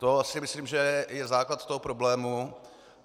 To si myslím, že je základ toho problému.